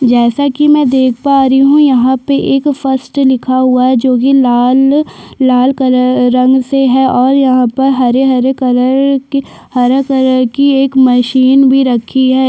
जैसा कि मैं देख पा री हूँ यहाँ पे एक फर्स्ट लिखा हुआ है जोकि लाल लाल कलर रंग से है और यहाँ पर हरे- हरे कलर के हरा कलर की एक मशीन भी रखी हैं।